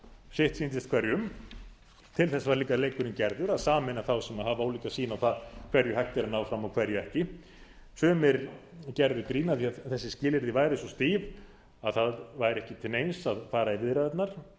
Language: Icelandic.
sitt sýndist hverjum til þess var líka leikurinn gerður að sameina þá sem hafa ólíka sýn á það hverju hægt er að ná fram og hverju ekki sumir gerðu grín að því að þessi skilyrði væru svo stíf að það væri ekki til neins að fara í viðræðurnar